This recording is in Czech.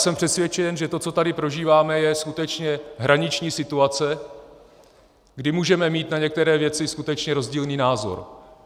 Jsem přesvědčen, že to, co tady prožíváme, je skutečně hraniční situace, kdy můžeme mít na některé věci skutečně rozdílný názor.